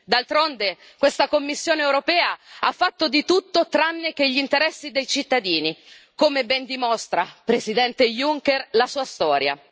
D'altronde questa Commissione europea ha fatto di tutto tranne che gli interessi dei cittadini, come ben dimostra, Presidente Juncker, la sua storia.